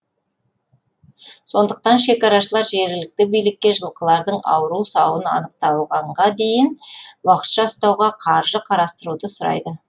сондықтан шекарашылар жергілікті билікке жылқылардың ауру сауын анықталғанға дейін уақытша ұстауға қаржы қарастыруды сұрайды